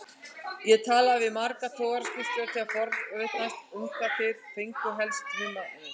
Ég talaði við marga togaraskipstjóra til að forvitnast um hvar þeir fengju helst humarinn.